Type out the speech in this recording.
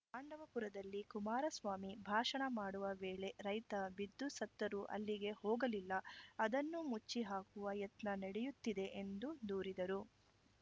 ಪಾಂಡವಪುರದಲ್ಲಿ ಕುಮಾರಸ್ವಾಮಿ ಭಾಷಣ ಮಾಡುವ ವೇಳೆ ರೈತ ಬಿದ್ದು ಸತ್ತರೂ ಅಲ್ಲಿಗೆ ಹೋಗಲಿಲ್ಲ ಅದನ್ನು ಮುಚ್ಚಿ ಹಾಕುವ ಯತ್ನ ನಡೆಯುತ್ತಿದೆ ಎಂದು ದೂರಿದರು